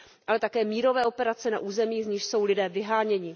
Ale také mírové operace na územích, z nichž jsou lidé vyháněni.